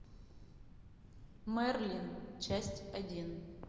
мерлин часть один